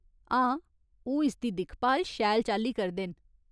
हां, ओह् इसदी दिक्खभाल शैल चाल्ली करदे न।